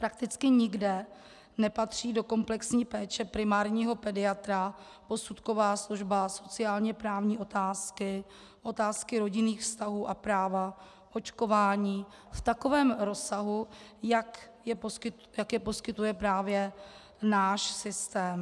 Prakticky nikde nepatří do komplexní péče primárního pediatra posudková služba, sociálně-právní otázky, otázky rodinných vztahů a práva, očkování v takovém rozsahu, jak je poskytuje právě náš systém.